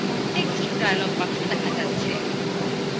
text dialog box দেখা যাচ্ছে